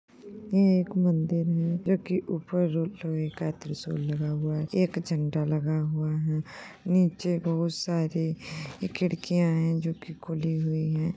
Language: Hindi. एक ये मदिर है जोकि ऊपर त्रिसुल लगा हुआ है एक झण्डा लगा हुआ है निचे बहुत सारी खिडकियाँ है जो की खुली हुई है।